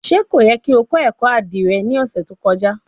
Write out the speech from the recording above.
Ṣe ko yẹ ki o kọ ẹkọ adire ni ọsẹ to kọja?